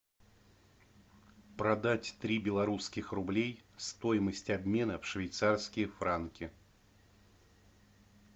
продать три белорусских рублей стоимость обмена в швейцарские франки